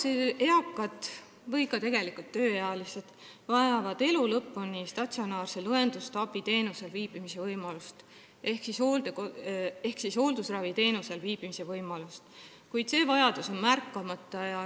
Osa eakaid või ka tegelikult tööealisi vajavad elu lõpuni statsionaarset õendusabiteenust ehk hooldusraviteenust, kuid see vajadus on märkamata.